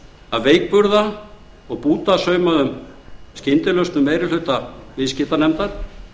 að veikburða og bútasaumaðar skyndilausnir meiri hluta viðskiptanefndar